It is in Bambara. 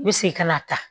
I bɛ segin ka na